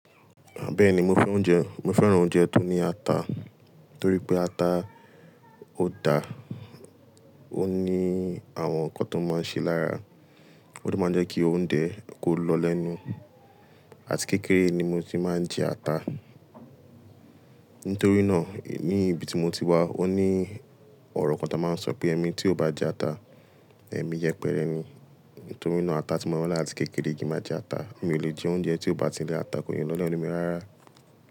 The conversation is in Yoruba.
Bẹ́ẹ̀ni, mo fẹ́ oúnjẹ, mo fẹ́ràn oúnjẹ tó ní ata tórí pé ata ó da, ó ní àwọn nǹkan tó máa ń ṣe lára, ó de máa ń jẹ́ kí oúnjẹ kó lọ lẹ́nu. Àti kékeré ni mo ti máa ń jẹ ata. Nítorí náà, eni niibi tí mo ti wá ó ní ọ̀rọ̀ kan tá máa ń sọ pé "ẹmi tí ò bá jẹ ata, èmi yẹpẹrẹ ni". Nítorí náà ata tí mo mọ̀ àti kékeré yìí máa jẹ ata. Mi ò lè jẹ oúnjẹ tí ò bá ti ní ata kí ó lè lọ lẹ́nu mi rárá.